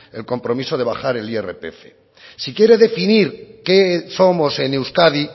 el compromiso de bajar el irpf si quiere definir qué somos en euskadi